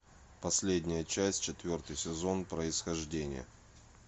последняя часть четвертый сезон происхождение